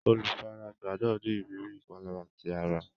Olùfaragbá náà ní ìrírí ìpalára ti ara.